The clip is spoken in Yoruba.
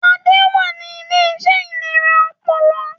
Adé wà ní Iléeṣẹ́ ìlera ọpọlọ